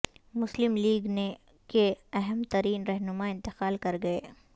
مسلم لیگ ن کے اہم ترین رہنما انتقال کرگئے